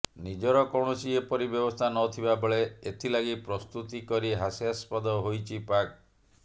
ନିଜର କୌଣସି ଏପରି ବ୍ୟବସ୍ଥା ନଥିବା ବେଳେ ଏଥିଲାଗି ପ୍ରସ୍ତୁତି କରି ହାସ୍ୟସ୍ପଦ ହୋଇଛି ପାକ୍